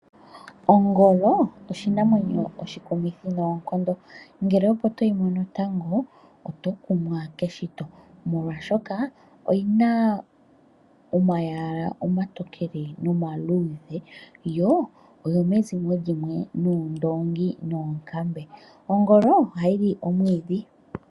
Ongolo oshinamwenyo oshikumithi noonkondo uuna opo toyi mono lwotango oto kumwa keshito molwashoka oyi na omayala omatokele nomaludhe yo oyo mezimo limwe nuundongi oshowo noonkambe. Ongolo ohayi li omwiidhi.